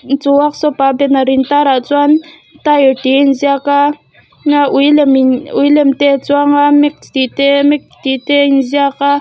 inchung workshop a banner in tar ah chuan tile tih a in ziak a a ui lem in ui lem te a chuang a mix tih te mac tih te a in ziak a.